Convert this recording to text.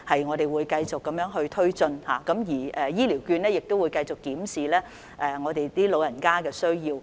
我們會繼續推展這些工作，而長者醫療券計劃亦會繼續檢視長者的需要。